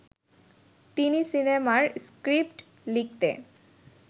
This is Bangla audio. তিনি সিনেমার স্ক্রিপ্ট লিখতে